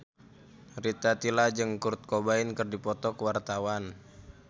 Rita Tila jeung Kurt Cobain keur dipoto ku wartawan